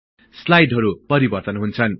स्लाईडहरु परिवर्तन हुन्छ